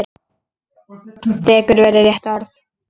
Dekur væri rétta orðið.